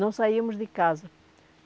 Não saímos de casa.